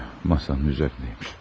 Masannın üzərində imiş.